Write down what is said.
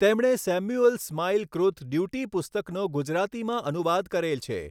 તેમણે Samuel Smiles કૃત Duty પુસ્તકનો ગુજરાતીમાં અનુવાદ કરેલ છે.